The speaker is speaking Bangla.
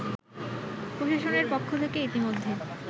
প্রশাসনের পক্ষ থেকে ইতোমধ্যে